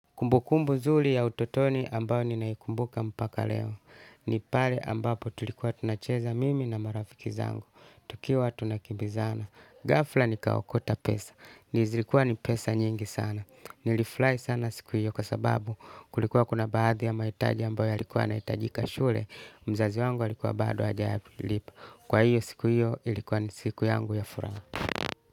Kumbukumbu nzuri ya utotoni ambayo ninaikumbuka mpaka leo. Ni pale ambapo tulikuwa tunacheza mimi na marafiki zangu. Tukiwa tunakimbizana. Ghafla nikaokota pesa. Ni zilikuwa ni pesa nyingi sana. Nilifurahi sana siku hiyo kwa sababu kulikuwa kuna baadhi ya mahitaji ambayo yalikuwa yanahitajika shule. Mzazi wangu alikuwa bado hajalipa. Kwa hiyo siku hiyo ilikuwa ni siku yangu ya furaha.